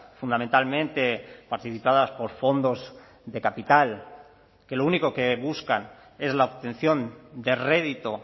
fundamentalmente participadas por fondos de capital que lo único que buscan es la obtención de rédito